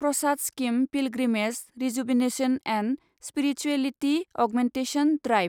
Prasad scheme pilgrimage rejuvenation and spirituality augmentation drive